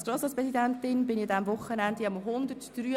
Als Grossratspräsidentin war ich an diesem Wochenende am 183.